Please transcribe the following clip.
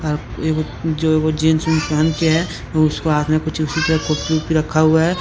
अह ये वो जो वो जीन्स जूनस पहन के है वो उसके हाथ में कुछ उसी तरह कुप्पी उप्पी रखा हुआ है।